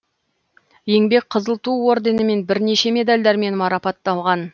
еңбек қызыл ту орденімен бірнеше медальдармен марапатталған